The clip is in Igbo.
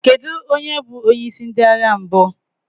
Kedu onye bụ onyeisi ndị agha mbụ?